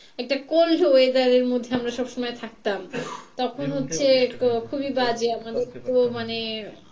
একটা cold weather এর মধ্যে আমরা সবসময় থাকতাম তখন হচ্ছে খুবই বাজে আমাদের তো মানে,